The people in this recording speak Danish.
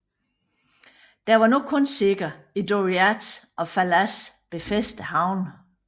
Der var nu kun sikkert i Doriath og Falas befæstede havne